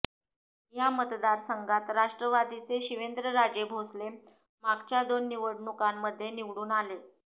या मतदारसंघात राष्ट्रवादीचे शिवेंद्रराजे भोसले मागच्या दोन निवडणुकांमध्ये निवडून आले